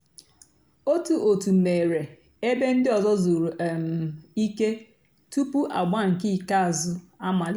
ótú ótú mèéré èbé ndị́ ọ̀zọ́ zùrú um ìké túpú àgbà nkè ìkèázụ́ àmàlíté.